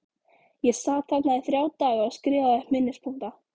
Ég sat þarna í þrjá daga og skrifaði upp minnispunkta.